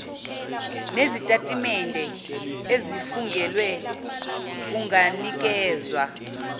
nezitatimende ezifungelwe kunganikezwa